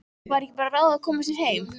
Væri ekki bara ráð að koma sér heim?